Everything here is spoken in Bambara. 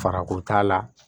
Farako t'a la